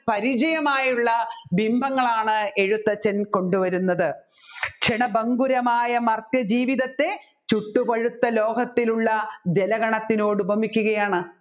പരിചയമായുള്ള ബിംബങ്ങളാണ് എഴുത്തച്ഛൻ കൊണ്ടുവരുന്നത് ക്ഷണഭങ്കുരമായ മർത്യാ ജീവിതത്തെ ചുട്ടുപഴുത്ത ലോഹത്തിലുള്ള ജലഗണത്തിനോട് ഉപമിക്കുകയാണ്